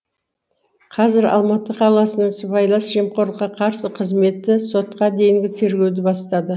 қазір алматы қаласының сыбайлас жемқорлыққа қарсы қызметі сотқа дейінгі тергеуді бастады